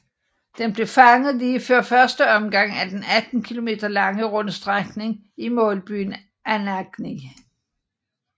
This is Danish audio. De blev fanget lige før første omgang af den 18 kilometer lange rundstrækning i målbyen Anagni